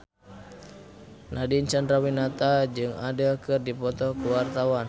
Nadine Chandrawinata jeung Adele keur dipoto ku wartawan